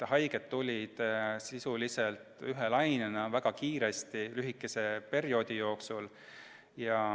Haiged tulid sisuliselt ühe lainena väga kiiresti lühikese perioodi jooksul.